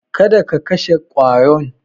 Kada ka kashe ƙwaron.